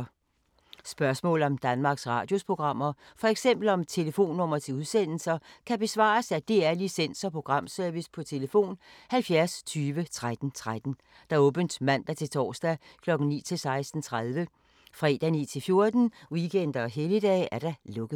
Spørgsmål om Danmarks Radios programmer, f.eks. om telefonnumre til udsendelser, kan besvares af DR Licens- og Programservice: tlf. 70 20 13 13, åbent mandag-torsdag 9.00-16.30, fredag 9.00-14.00, weekender og helligdage: lukket.